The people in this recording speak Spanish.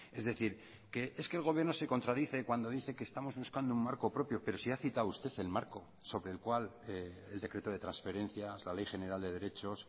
es decir que es que el gobierno se contradice cuando dice que estamos buscando un marco propio pero si ha citado usted el marco sobre el cual el decreto de transferencia la ley general de derechos